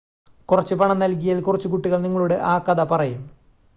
കുറച്ച് പണം നൽകിയാൽ കുറച്ച് കുട്ടികൾ നിങ്ങളോട് ആ കഥ പറയും